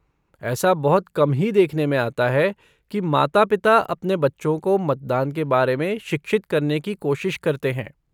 ऐसा बहुत कम ही देखने में आता है कि माता पिता अपने बच्चों को मतदान के बारे में शिक्षित करने की कोशिश करते हैं।